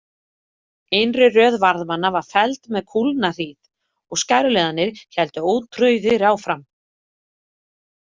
Innri röð varðmanna var felld með kúlnahríð og skæruliðarnir héldu ótrauðir áfram.